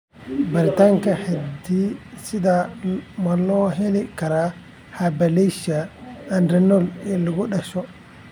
Baaritaanka hidde-sidaha ma loo heli karaa hyperplasia adrenal ee lagu dhasho?